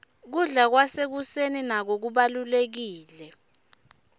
kubla kwasekuseni nako kubalurekile